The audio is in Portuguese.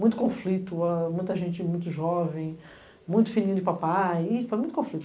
Muito conflito, muita gente muito jovem, muito filhinho de papai, foi muito conflito.